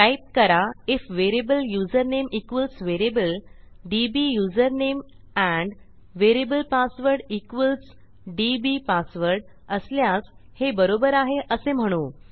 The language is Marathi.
टाईप करा IF variable username equals variable DB username and variable password equals DB password असल्यास हे बरोबर आहे असे म्हणू